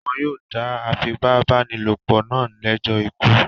Wọn yóò dá afipábánilòpọ̀ náà lẹ́jọ́ ikú.